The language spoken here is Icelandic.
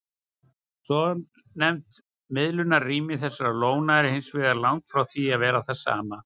Svonefnt miðlunarrými þessara lóna er hins vegar langt frá því að vera það sama.